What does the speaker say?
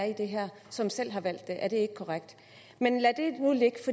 i det her som selv har valgt det er det ikke korrekt men lad